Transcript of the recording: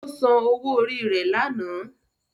Ó san owó orí rẹ̀ lánàá.